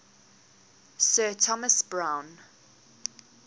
sir thomas browne